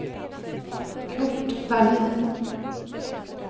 Curt Dahlin